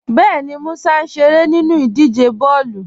Bẹẹni, Músà n ṣeré nínu idíje bọọlu.